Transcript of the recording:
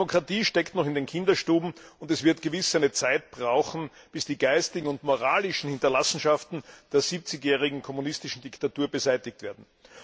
Die Demokratie steckt noch in den Kinderschuhen, und es wird gewiss seine Zeit brauchen, bis die geistigen und moralischen Hinterlassenschaften der 70jährigen kommunistischen Diktatur beseitigt werden.